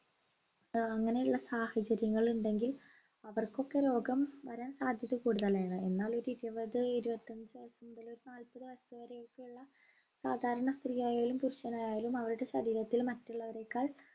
ഏർ അങ്ങനെയുള്ള സാഹചര്യങ്ങൾ ഉണ്ടെങ്കിൽ അവർക്കൊക്കെ രോഗം വരാൻ സാധ്യത കൂടുതലാണ് എന്നാൽ ഒരു ഇരുപത് ഇരുപത്തഞ്ച് വയസ്സുമുതൽ ഒരു നാൽപത് വയസ്സുവരെയൊക്കെയുള്ള സാധാരണ സ്ത്രീയായാലും പുരുഷനായാലും അവരുടെ ശരീരത്തിൽ മറ്റുള്ളവരെക്കാൾ